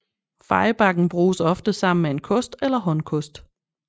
Fejebakken bruges oftest sammen med en kost eller håndkost